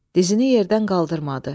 Dizini yerdən qaldırmadı.